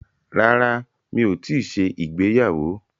Rárá, mi ò tíì ṣe ìgbéyàwó.